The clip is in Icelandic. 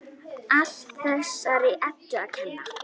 Allt þessari Eddu að kenna!